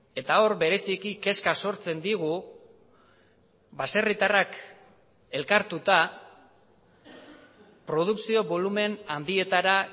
eta hor bereziki kezka sortzen digu baserritarrak elkartuta produkzio bolumen handietara